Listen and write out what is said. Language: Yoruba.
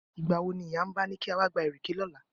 Ìgbà wo ni ìyá Mba ni ká wá gba ìrèké lọ́la?